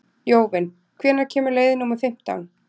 Jóvin, hvenær kemur leið númer fimmtán?